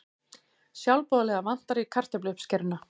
Sjálfboðaliða vantar í kartöfluuppskeruna